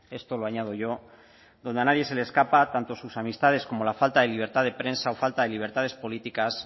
esto lo añado yo donde a nadie se le escapa tanto sus amistades como la falta de libertad de prensa o falta de libertades políticas